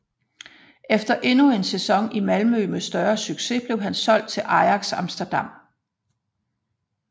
Efter endnu en sæson i Malmö med større succes blev han solgt til Ajax Amsterdam